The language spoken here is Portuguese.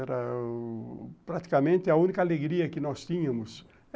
Era praticamente a única alegria que nós tínhamos.